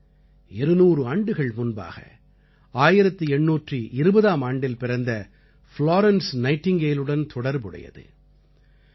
இது 200 ஆண்டுகள் முன்பாக 1820ஆம் ஆண்டில் பிறந்த ஃப்லோரென்ஸ் நைட்டிங்கேலுடன் தொடர்பு உடையது